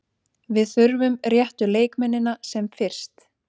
Við þurfum réttu leikmennina sem fyrst.